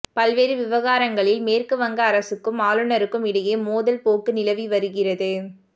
பல்வேறு விவகாரங்களில் மேற்கு வங்க அரசுக்கும் ஆளுநருக்கும் இடையே மோதல் போக்கு நிலவி வருகிறது